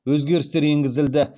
өзгерістер енгізілді